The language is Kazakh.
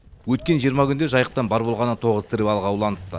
өткен жиырма күнде жайықтан бар болғаны тоғыз тірі балық ауланыпты